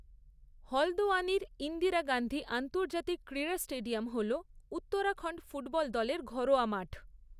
হলদওয়ানির ইন্দিরা গান্ধী আন্তর্জাতিক ক্রীড়া স্টেডিয়াম হল উত্তরাখণ্ড ফুটবল দলের ঘরোয়া মাঠ।